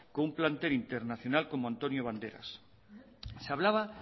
con un plantel internacional como antonio banderas se hablaba